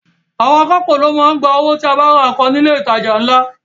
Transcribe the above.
Àwọn akápò ló ń gba owó tí o bá ra nǹkan ní ilé ìtajà ńlá